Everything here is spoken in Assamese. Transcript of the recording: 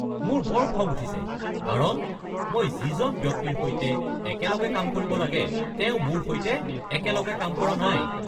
মোৰ বৰ খং উঠিছে কাৰণ মই যিজন ব্যক্তিৰ সৈতে একেলগে কাম কৰিব লাগে তেওঁ মোৰ সৈতে একেলগে কাম কৰা নাই।